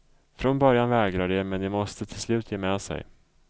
Från början vägrar de men de måste till slut ge med sig.